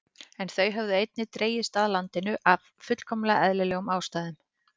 En þau höfðu einnig dregist að landinu af fullkomlega eðlilegum ástæðum.